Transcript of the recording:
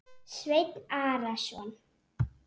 Sveinn Arason.